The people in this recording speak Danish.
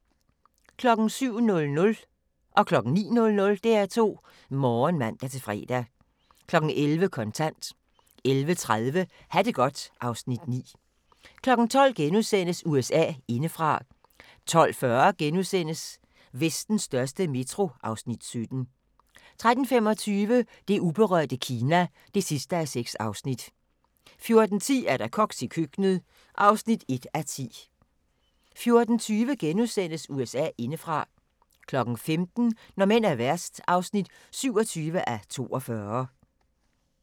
07:00: DR2 Morgen (man-fre) 09:00: DR2 Morgen (man-fre) 11:00: Kontant 11:30: Ha' det godt (Afs. 9) 12:00: USA indefra * 12:40: Vestens største metro (Afs. 17)* 13:25: Det uberørte Kina (6:6) 14:10: Koks i køkkenet (1:10) 14:20: USA indefra * 15:00: Når mænd er værst (27:42)